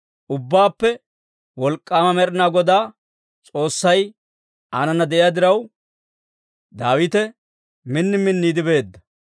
Ubbaappe Wolk'k'aama Med'inaa Godaa S'oossay aanana de'iyaa diraw, Daawite min minniide beedda.